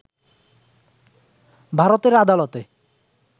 ভারতের আদালতে